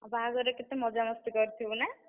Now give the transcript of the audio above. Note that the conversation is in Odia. ଆଉ ବାହାଘରେ କେତେ ମଜାମସ୍ତି କରିଥିବୁ ନା?